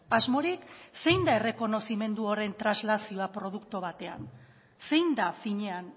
asmorik zein da errekonozimendu horren translazioa produktu batean zein da finean